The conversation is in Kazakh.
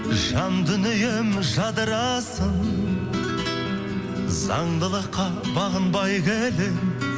жан дүнием жадырасын заңдылыққа бағынбай келемін